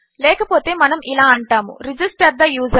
లేకపోతే మనము ఇలా అంటాము రిజిస్టర్ తే యూజర్